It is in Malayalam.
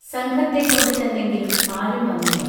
സംഘത്തെ കൊണ്ട് ചെന്നെങ്കിലും ആരും വന്നില്ല